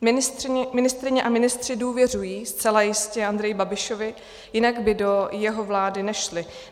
Ministryně a ministři důvěřují zcela jistě Andreji Babišovi, jinak by do jeho vlády nešli.